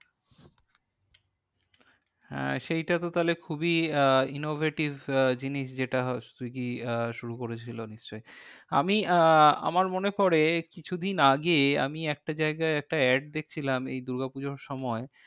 হ্যাঁ সেইটা তো তাহলে খুবই আহ innovative আহ জিনিস যেটা সুইগী আহ শুরু করেছিল নিশ্চই। আমি আহ আমার মনে পরে কিছু দিন আগে আমি একটা জায়গায় একটা add দেখছিলাম এই দূর্গা পুজোর সময়।